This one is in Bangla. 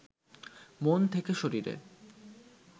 মন থেকে শরীরে